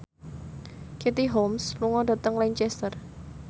Katie Holmes lunga dhateng Lancaster